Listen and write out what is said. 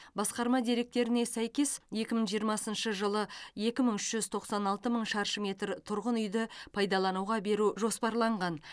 басқарма деректеріне сәйкес екі мың жиырмасыншы жылы екі мың үш жүз тоқсан алты мың шаршы метр тұрғын үйді пайдалануға беру жоспарланған